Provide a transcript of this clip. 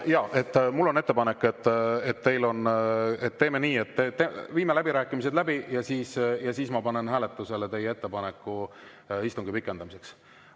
Jaa, mul on ettepanek, et teeme nii, et viime läbirääkimised läbi ja siis ma panen hääletusele teie ettepaneku istungiaja pikendamiseks.